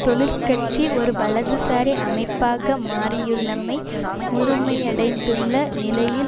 தொழிற் கட்சி ஒரு வலதுசாரி அமைப்பாக மாறியுள்ளமை முழுமையடைந்துள்ள நிலையில்